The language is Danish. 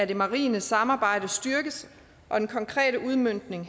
det marine samarbejde styrkes og den konkrete udmøntning